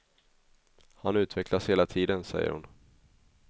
Han utvecklas hela tiden, säger hon.